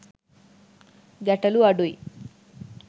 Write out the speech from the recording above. ගැටලු අඩුයි.